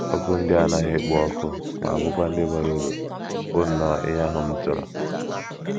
Okwu ndị a na anaghị èkpo ọkụ ma bụ́kwa ndị bara uru, bụ nnọọ ihe ahụ m chọrọ